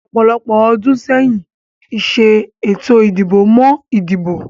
Ọ̀pọ̀lọpọ̀ ọdún sẹ́yìn, ìṣe ètò ìdìbò mọ ìdìbò